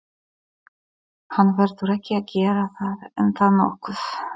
Hann verður ekki að gera það er það nokkuð?